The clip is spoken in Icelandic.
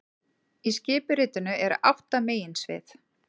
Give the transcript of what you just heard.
Í skipuritinu eru átta meginsvið